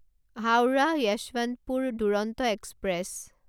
Howrah Yesvantpur Duronto express